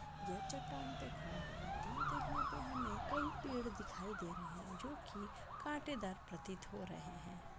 यह चट्टान पे खड़ा है दूर देखने पे हमे कई पेड़ दिखाई दे रहे है जो की काटेदार प्रतीत हो रहे है।